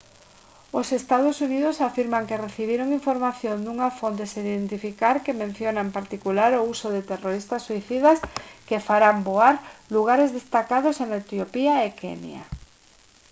os ee. uu. afirman que recibiron información dunha fonte sen identificar que menciona en particular o uso de terroristas suicidas que farán voar «lugares destacados» en etiopía e kenya